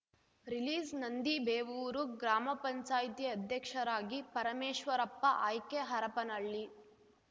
ರಿಲೀಸ್‌ನಂದಿಬೇವೂರು ಗ್ರಾಮ ಪಂಚಾಯತಿ ಅಧ್ಯಕ್ಷರಾಗಿ ಪರಮೇಶ್ವರಪ್ಪ ಆಯ್ಕೆ ಹರಪ್ಪನಹಳ್ಳಿ